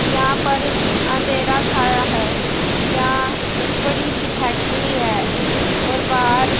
यहां पर अंधेरा छाया है यहां एक बड़ी सी फैक्ट्री है और बाहर--